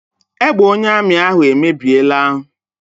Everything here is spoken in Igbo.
Egbe onye amị ahụ emebiela.